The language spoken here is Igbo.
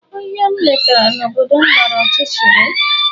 Ohia m letara na obodo m gbara ọchịchịrị.